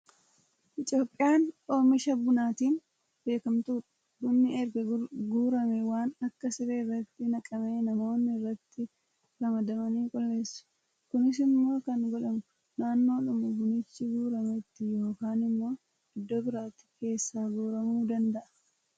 Itoophiyaan oomisha bunaatiin beekamtuudha. Bunni erga guuramee waan akka siree irratti naqamee namoonni irratti ramadamanii qulqulleessu. Kunis immoo kan godhamu naannoodhuma bunichi guurametti yookaan immoo iddoo biraatti keesaa guuramuu danada'a.